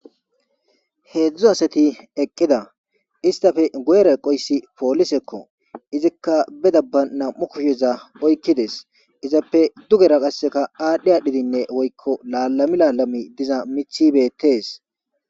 Heedzdzu asati eqqida istafe goera eqoyssi poolisekko izikka be dabba nam7u kusheza oykkides izappe dugera qasseka aadhdhe adhidinne woykko laalami laalami diza mithibeettes